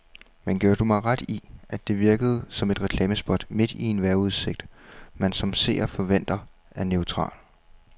Men giver du mig ret i, at det virkede som et reklamespot midt i en vejrudsigt, man som seer forventer er neutral.